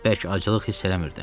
Elə bəlkə aclıq hiss eləmirdim.